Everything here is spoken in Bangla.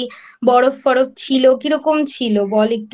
বরফ টরফ ছিল কিরকম ছিল বল একটু।